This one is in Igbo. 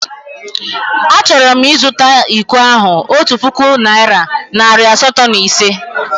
Achọrọ m ịzụta iko ahụ otu puku naịra nari asatọ na ise.